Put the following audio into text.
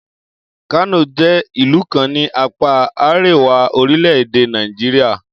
Kano jẹ́ ìlú kan ní apáa àríwá orílẹ̀-èdè Nàìjíríà